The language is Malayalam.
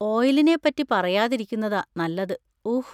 ഓയിലിനെ പറ്റി പറയാതിരിക്കുന്നതാ നല്ലത്, ഊഹ്!